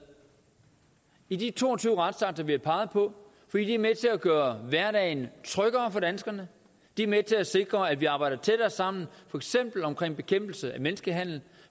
i de to og tyve retsakter vi har peget på fordi de er med til at gøre hverdagen tryggere for danskerne de er med til at sikre at vi arbejder tættere sammen for eksempel om bekæmpelse af menneskehandel